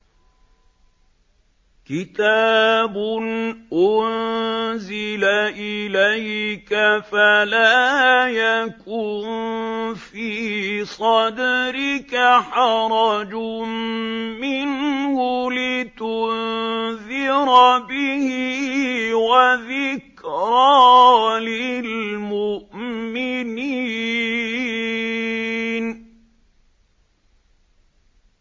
كِتَابٌ أُنزِلَ إِلَيْكَ فَلَا يَكُن فِي صَدْرِكَ حَرَجٌ مِّنْهُ لِتُنذِرَ بِهِ وَذِكْرَىٰ لِلْمُؤْمِنِينَ